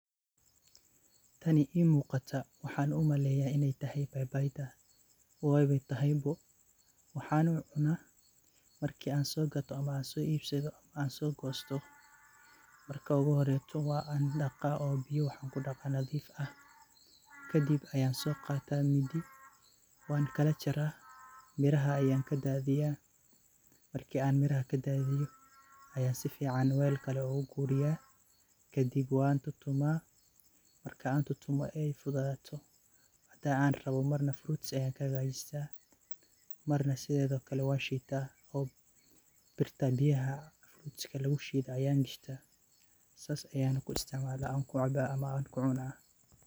Tani ii muqataa waxan u maleyaa iney tahay babayga , weyna atahay bo waxan u cuna a, marki an so gato wan daqaa biyo nadif ah oo cuna kabacdi wan soqataa midi wana kalajaraa , ,miraha ayan kadathiyaa ayan si fican wal kale u galiyaa kadib wan tumaa kadib si an rabe markey noqoto frutsi ayan kahagajista oo marka sidhe kale wan shitaa sas ayana kuisticmala oona ku cabaa.